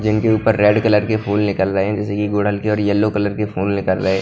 जिनके ऊपर red colour के फूल निकल रहे है जैसे डलते और येलो कलर के फूल निकल रहे हैं।